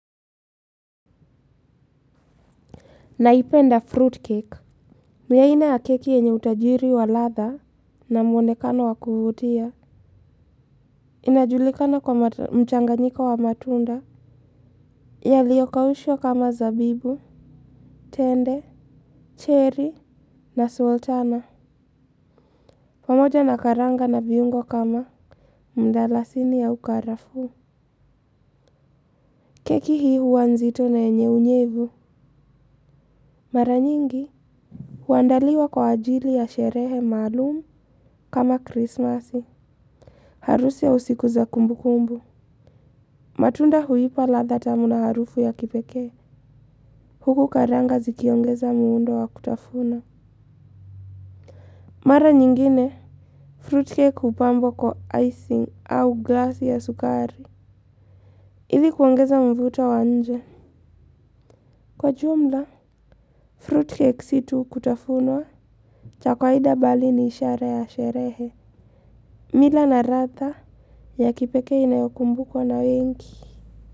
Naipenda fruit cake ni aina ya keki yenye utajiri wa ladha na mwonekano wa kuvutia. Inajulikana kwa mchanganyiko wa matunda yaliyokaushwa kama zabibu tende, cherry na sultana pamoja na karanga na viungo kama mdalasini au karafuu. Keki hii huwa nzito na yenye unyevu. Mara nyingi huandaliwa kwa ajili ya sherehe maalumu kama krismasi. Harusi au siku za kumbukumbu. Matunda huipa ladha tamu na harufu ya kipekee. Huku karanga zikiongeza muundo wa kutafuna. Mara nyingine Fruitcake hupambwa kwa icing au glass ya sukari. Ili kuongeza mvuto wa nje. Kwa jumla Fruitcake si tu kutafunwa cha kawaida bali ni ishara ya sherehe. Mila na radha ya kipekee inayokumbukwa na wengi.